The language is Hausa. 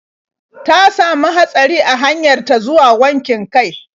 Ta samu hatsari a hanyar ta zuwa wankin kai.